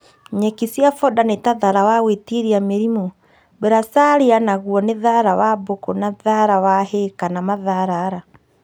Nyeki cia foda nĩta thara wa gwĩtiria mĩrimũ, bracharia na nĩguo thara wa bũkũ na thara wa hay kana matharara